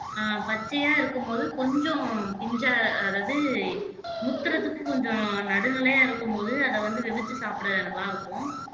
அஹ் பச்சையா இருக்கும்போது கொஞ்சம் பிஞ்சா அதாவது முத்துறதுக்கு கொஞ்சம் நடுநிலையா இருக்கும்போது அதை வந்து வெவிச்சு சாப்பிட நல்லா இருக்கும்